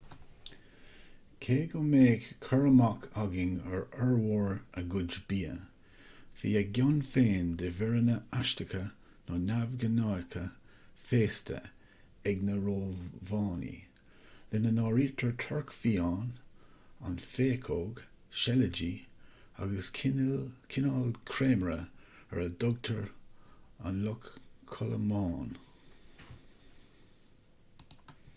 cé go mbeadh cur amach againn ar fhormhór a gcuid bia bhí a gcion féin de mhíreanna aisteacha nó neamhghnácha féasta ag na rómhánaigh lena n-áirítear torc fiáin an phéacóg seilidí agus cineál creimire ar a dtugtar an luch chodlamáin